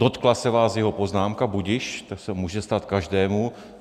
Dotkla se vás jeho poznámka, budiž, to se může stát každému.